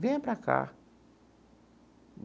Venha para cá.